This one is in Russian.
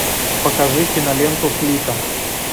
покажи киноленту флика